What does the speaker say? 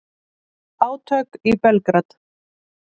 Átök í Belgrad